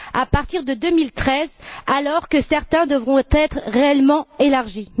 à partir de 2013, alors que certains devront être réellement élargis?